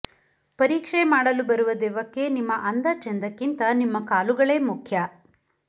ಪರೀಕ್ಷೆ ಮಾಡಲು ಬರುವ ದೆವ್ವಕ್ಕೆ ನಿಮ್ಮ ಅಂದ ಚೆಂದಕ್ಕಿಂತ ನಿಮ್ಮ ಕಾಲುಗಳೇ ಮುಖ್ಯ